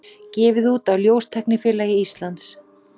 Gefið út af ljóstæknifélagi Íslands.